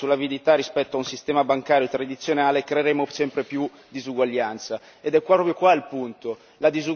Finché continueremo a puntare sulla finanza e sull'avidità rispetto a un sistema bancario tradizionale creeremo sempre più disuguaglianza.